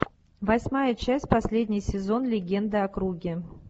восьмая часть последний сезон легенды о круге